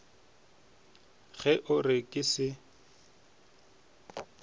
ge o re ke se